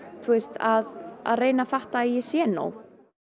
að að reyna að fatta að ég sé nóg